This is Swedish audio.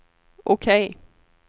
OK